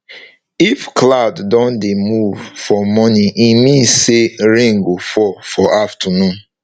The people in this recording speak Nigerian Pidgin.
if cloud don dey move for morning e mean say rain go fall for afternoon